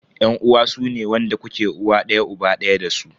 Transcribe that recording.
Yan uwa sune wanda kuke uwa daya uba daya dasu.